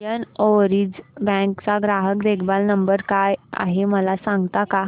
Indian Overseas Bank चा ग्राहक देखभाल नंबर काय आहे मला सांगता का